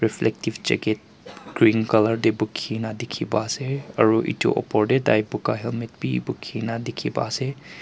reflective jacket green colour tae bukhina dikhi pa ase aro edu opor tae tai buka helmet bi dikhina dikhiase.